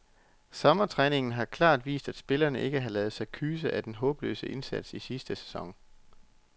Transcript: Sommertræningen har helt klart vist, at spillerne ikke har ladet sig kyse af den håbløse indsats i sidste sæson.